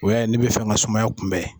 O y'a ye n'i bɛ fɛ ka sumaya kunbɛn